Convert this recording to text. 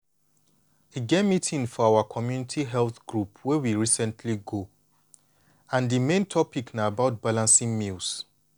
e get meeting for our community health group wey we recently go and di main topic na about balancing meals.